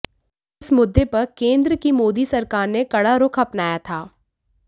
इस मुद्दे पर केंद्र की मोदी सरकार ने कड़ा रुख अपनाया था